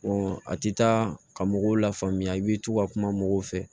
a ti taa ka mɔgɔw lafaamuya i bi to ka kuma mɔgɔw fɛ